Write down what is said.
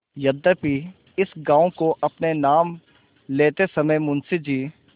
यद्यपि इस गॉँव को अपने नाम लेते समय मुंशी जी